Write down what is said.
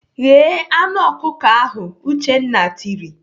"Ghee anụ ọkụkọ ahụ!" Uchenna tiri.